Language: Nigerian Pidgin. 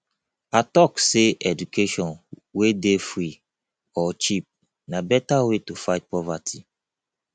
i tok sey education wey dey free or cheap na beta way to fight poverty